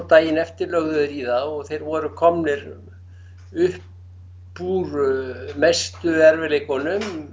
daginn eftir lögðu þeir í það og þeir voru komnir upp úr mestu erfiðleikunum